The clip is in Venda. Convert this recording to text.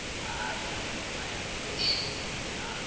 haya na ya poswo na